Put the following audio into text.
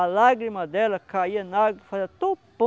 A lágrima dela caía na água e fazia